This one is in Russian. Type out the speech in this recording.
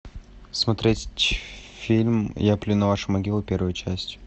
смотреть фильм я плюю на ваши могилы первую часть